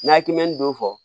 N'a kimin don fɔ